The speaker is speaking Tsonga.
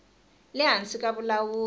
le hansi ka vulawuri bya